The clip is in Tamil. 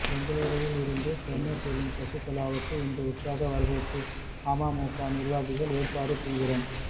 பெங்களூருவில் இருந்து சென்னை செல்லும் சசிகலாவுக்கு இன்று உற்சாக வரவேற்பு அமமுக நிர்வாகிகள் ஏற்பாடு தீவிரம்